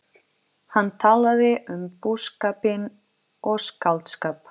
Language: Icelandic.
Soldið töff pabbi í leðurjakka með kaskeitið kuðlað í höndunum.